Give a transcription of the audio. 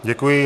Děkuji.